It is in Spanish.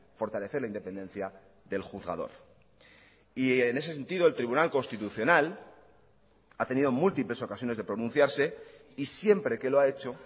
fortalecer la independencia del juzgador y en ese sentido el tribunal constitucional ha tenido múltiples ocasiones de pronunciarse y siempre que lo ha hecho